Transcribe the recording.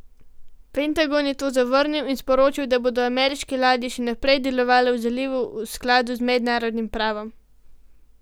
Pentagon je to zavrnil in sporočil, da bodo ameriške ladje še naprej delovale v zalivu v skladu z mednarodnim pravom.